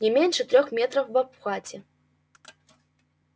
не меньше трёх метров в обхвате